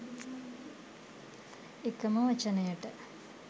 එකම වචනයට